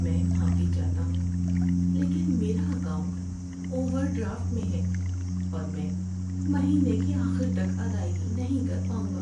میں معافی چاہتا ہوں لیکن میرا اکاؤنٹ اوور ڈرافٹ میں ہے اور میں مہینے کے آخر تک ادائیگی نہیں کر پاؤں گا۔